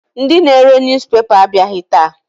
Ndị na-ere newspaper abịaghị taa.